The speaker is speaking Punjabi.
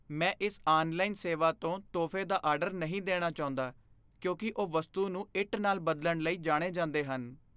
ਮੈਂ ਇਸ ਆਨਲਾਈਨ ਸੇਵਾ ਤੋਂ ਤੋਹਫ਼ੇ ਦਾ ਆਰਡਰ ਨਹੀਂ ਦੇਣਾ ਚਾਹੁੰਦਾ ਕਿਉਂਕਿ ਉਹ ਵਸਤੂ ਨੂੰ ਇੱਟ ਨਾਲ ਬਦਲਣ ਲਈ ਜਾਣੇ ਜਾਂਦੇ ਹਨ।